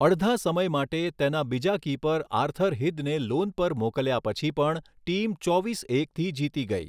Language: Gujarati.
અડધા સમય માટે, તેના બીજા કીપર આર્થર હિંદને લોન પર મોકલ્યા પછી પણ, ટીમ ચોવીસ એકથી જીતી ગઈ.